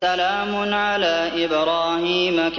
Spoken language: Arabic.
سَلَامٌ عَلَىٰ إِبْرَاهِيمَ